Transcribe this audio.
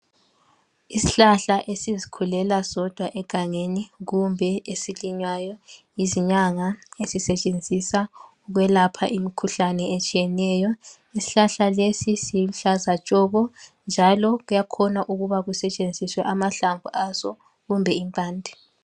Isihlahla esizikhulela sodwa egangeni kumbe esilinywayo yizinyanga. Sisetshenziswa ukwelapha imikhuhlane etshiyeneyo. Isihlahla lesi siluhlaza tshoko njalo kuyakhona ukuba kusetshenziswe amahlamvu aso kumbe impande.